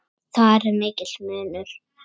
Þar er mikill munur.